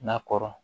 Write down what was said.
Na kɔrɔ